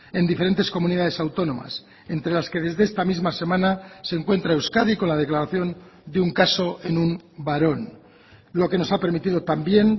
en diferentes comunidades autónomas entre las que desde esta misma semana se encuentra euskadi con la declaración de un caso en un varón lo que nos ha permitido también